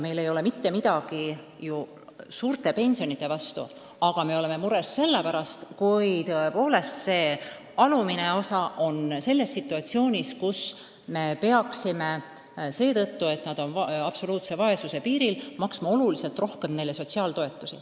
Meil ei ole mitte midagi suurte pensionide vastu, aga me oleme mures selle pärast, et kui väikseimat pensioni saavad inimesed elavad absoluutse vaesuse piiril, siis tuleb meil maksta oluliselt rohkem sotsiaaltoetusi.